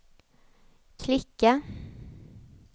klicka